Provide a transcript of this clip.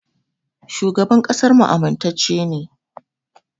Shugaban ƙasarmu amintacce ne.